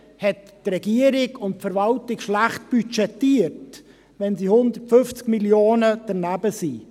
Haben die Regierung und die Verwaltung schlecht budgetiert, wenn sie um 150 Mio. Franken danebenliegen?